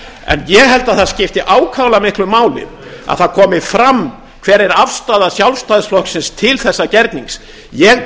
en ég held að það skipti ákaflega miklu máli að það komi fram hver er afstaða sjálfstæðisflokksins til þessa gernings ég